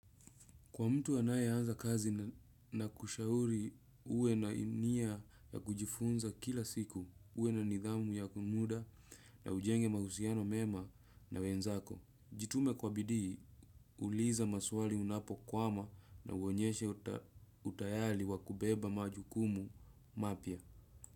Kwa mtu anaye anza kazi na kushauri uwe na nia ya kujifunza kila siku. Uwe na nidhamu ya muda na ujenge mahusiano mema na wenzako. Jitume kwa bidii, uliza maswali unapokwama na uonyeshe utayari wakubeba majukumu mapya.